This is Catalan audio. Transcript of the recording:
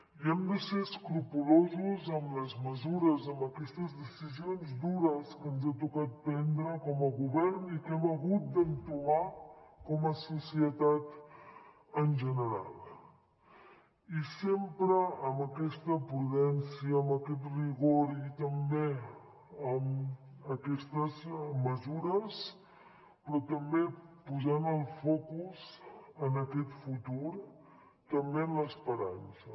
i hem de ser escrupolosos amb les mesures amb aquestes decisions dures que ens ha tocat prendre com a govern i que hem hagut d’entomar com a societat en general i sempre amb aquesta prudència amb aquest rigor i també amb aquestes mesures però també posant el focus en aquest futur també en l’esperança